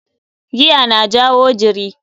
Giya na jawo jiri.